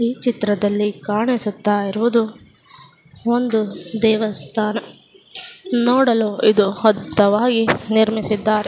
ಈ ಚಿತ್ರದಲ್ಲಿ ಕಾಣಿಸುತ್ತಾ ಇರುವುದು ಒಂದು ದೇವಸ್ಥಾನ. ನೋಡಲು ಇದು ಹಡ್ಡವಾಗಿ ನಿಮಿಸಿದ್ದಾರೆ.